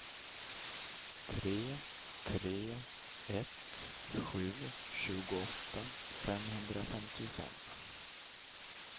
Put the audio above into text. tre tre ett sju tjugoåtta femhundrafemtiofem